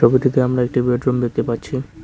ছবিটিতে আমরা একটি বেডরুম দেখতে পাচ্ছি।